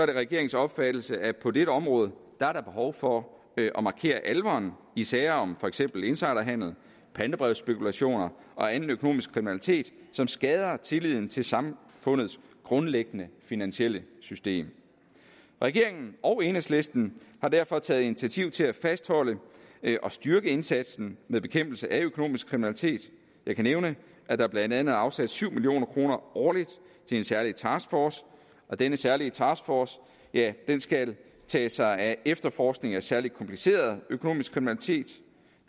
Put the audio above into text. regeringens opfattelse at på dette område er der behov for at markere alvoren i sager om for eksempel insiderhandel pantebrevsspekulation og anden økonomisk kriminalitet som skader tilliden til samfundets grundlæggende finansielle system regeringen og enhedslisten har derfor taget initiativ til at fastholde og styrke indsatsen med bekæmpelse af økonomisk kriminalitet jeg kan nævne at der blandt andet er afsat syv million kroner årligt til en særlig taskforce denne særlige taskforce skal tage sig af efterforskning af særlig kompliceret økonomisk kriminalitet